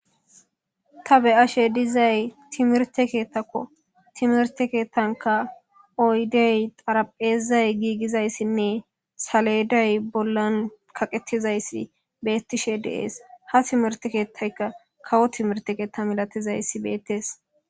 ta be7ashe dizay timirte keettakko timerte keettanka oydey xarapheezay giigizayssinne saleday bollan kaqettizayssi beettishe deees ha timerte keettayka kawo timirte keetta milatizayssi beettees